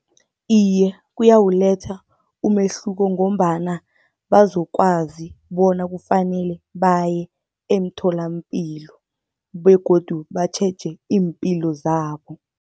Iye, kuyawuletha umehluko ngombana bazokwazi bona kufanele baye emtholapilo begodu batjheje iimpilo zabo.